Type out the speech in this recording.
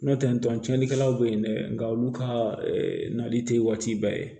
Nɔntɛ tɔn cɛnlikɛlaw be yen dɛ nka olu ka nali te waati bɛɛ ye